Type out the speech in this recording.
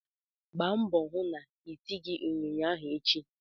Gba mbọ hụ na itighi ịnyịnya ahụ ịhe!